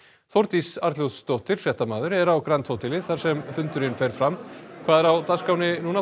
Þórdís Arnljótsdóttir fréttamaður er á grand hóteli þar sem fundurinn fer fram hvað er á dagskránni núna